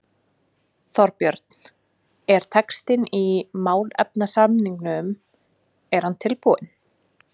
Þorbjörn: Er textinn í málefnasamningnum er hann tilbúinn?